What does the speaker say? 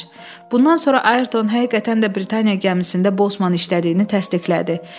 Bundan sonra Ayerton həqiqətən də Britaniya gəmisində Bosman işlədiyini təsdiqlədi.